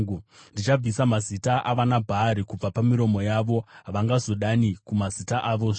Ndichabvisa mazita avanaBhaari pamiromo yavo; havangazodani kumazita avozve.